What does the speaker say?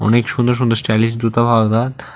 অনেক সুন্দর সুন্দর স্টাইলিস জুতা পাওয়া যায়।